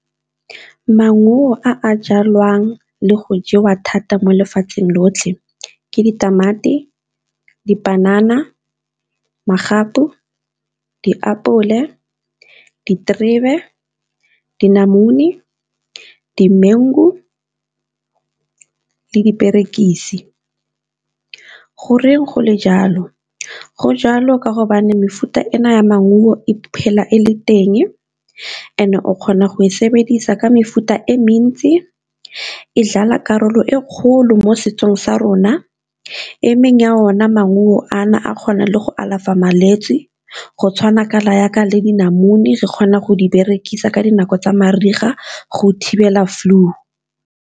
Maungo a jalwang le go jewa thata mo lefatsheng lotlhe ke ditamati, dipanana, magapu, diapole, diterebe, dinamune, dimengu le diperekisi. Goreng go le jalo? Go jalo ka hobane mefuta ena ya maungo e phela e le teng, and-e o kgona go e sebedisa ka mefuta e mentsi, e dlala karolo e kgolo mo setsong sa rona, e mengwe ya ona maungo a na a kgonang le go alafa malwetse go tshwana jaaka le dinamune re kgona go di berekisa ka dinako tsa mariga go thibela flu.